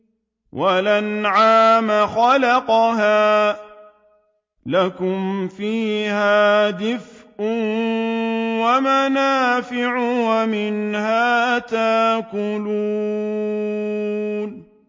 وَالْأَنْعَامَ خَلَقَهَا ۗ لَكُمْ فِيهَا دِفْءٌ وَمَنَافِعُ وَمِنْهَا تَأْكُلُونَ